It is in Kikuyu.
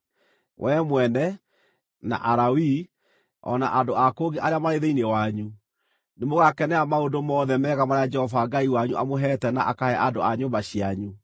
Wee mwene, na Alawii, o na andũ a kũngĩ arĩa marĩ thĩinĩ wanyu, nĩmũgakenera maũndũ mothe mega marĩa Jehova Ngai wanyu amũheete na akahe andũ a nyũmba cianyu.